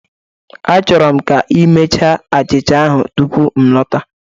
Achọrọ m ka ị mechaa achịcha ahụ tupu m lọta